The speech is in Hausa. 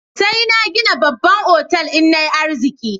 Sai na gina babban otal in na yi arziki.